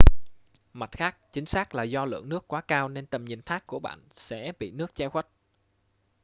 mặt khác chính xác là do lượng nước quá cao nên tầm nhìn thác của bạn sẽ bị nước che khuất